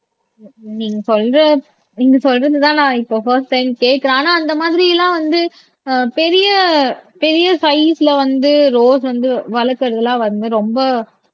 நீங்க சொல்ற நீங்க சொல்றதுதான் நான் இப்ப பர்ஸ்ட் டைம் கேட்கிறேன் ஆனா அந்த மாதிரி எல்லாம் வந்து ஆஹ் பெரிய பெரிய சைசுல வந்து ரோஸ் வந்து வளர்க்கிறது எல்லாம் வந்து ரொம்ப